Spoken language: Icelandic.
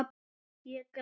Ég græt.